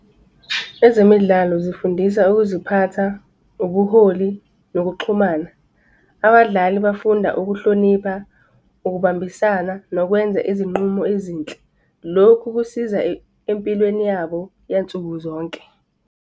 Ezemidlalo zifundisa ukuziphatha, ubuholi nokuxhumana. Abadlali bafunda ukuhlonipha, ukubambisana nokwenza izinqumo ezinhle. Lokhu kusiza empilweni yabo yansuku zonke.